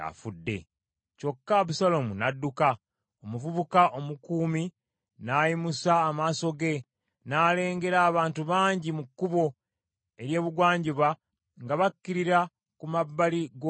Kyokka Abusaalomu n’adduka. Omuvubuka omukuumi n’ayimusa amaaso ge, n’alengera abantu bangi mu kkubo ery’ebugwanjuba nga bakkirira ku mabbali g’olusozi.